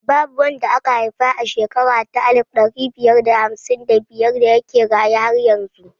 Babu wanda aka haifa a shekara ta alif ɗari biyar da hamsin da biyar da yake raye har yanzu